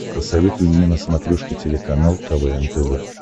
посоветуй мне на смотрешке телеканал квн тв